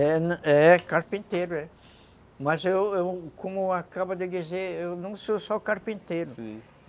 É... carpinteiro, é, mas eu eu... Como eu como eu acabo de dizer, eu não sou só carpinteiro.